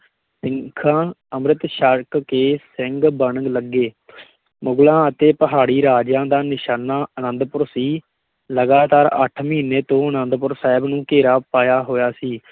ਸਿੱਖਾਂ ਅੰਮ੍ਰਿਤ ਛਕ ਕੇ ਸਿੰਘ ਬਣਨ ਲੱਗੇ ਮੁਗ਼ਲਾਂ ਅਤੇ ਪਹਾੜੀ ਰਾਜਿਆਂ ਦਾ ਨਿਸ਼ਾਨਾ ਅੰਨਦਪੁਰ ਸੀ, ਲਗਾਤਾਰ ਅੱਠ ਮਹੀਨੇ ਤੋਂ ਅਨੰਦਪੁਰ ਸਾਹਿਬ ਨੂੰ ਘੇਰਾ ਪਾਇਆ ਹੋਇਆ ਸੀ।